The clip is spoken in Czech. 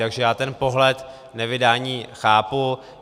Takže já ten pohled nevydání chápu.